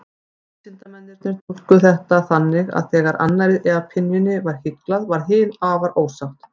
Vísindamennirnir túlkuðu þetta þannig að þegar annarri apynjunni var hyglað, varð hin afar ósátt.